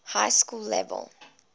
high school level